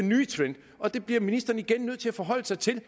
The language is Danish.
ny trend og det bliver ministeren igen nødt til at forholde sig til